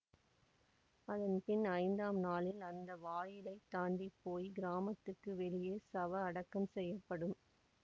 அதன் பின் ஐந்தாம் நாளில் அந்த வாயிலை தாண்டி போய் கிராமத்துக்கு வெளியே சவ அடக்கம் செய்யப்படும்